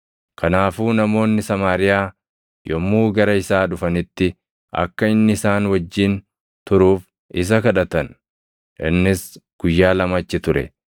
Kanaafuu namoonni Samaariyaa yommuu gara isaa dhufanitti akka inni isaan wajjin turuuf isa kadhatan; innis guyyaa lama achi ture.